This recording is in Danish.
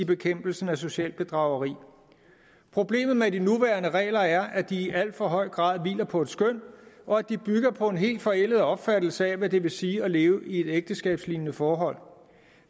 bekæmpelsen af socialt bedrageri problemet med de nuværende regler er at de i alt for høj grad hviler på et skøn og at de bygger på en helt forældet opfattelse af hvad det vil sige at leve i et ægteskabslignende forhold